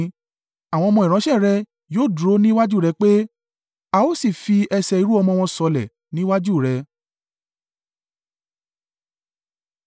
Àwọn ọmọ ìránṣẹ́ rẹ̀ yóò dúró ní iwájú rẹ pẹ́; a ó sì fi ẹsẹ̀ irú-ọmọ wọn sọlẹ̀ ní iwájú rẹ.”